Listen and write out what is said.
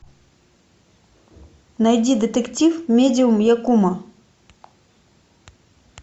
найди детектив медиум якумо